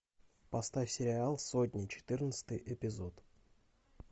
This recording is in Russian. поставь сериал сотня четырнадцатый эпизод